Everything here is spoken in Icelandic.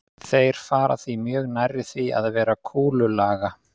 Þeir fara því mjög nærri því að vera kúlulaga.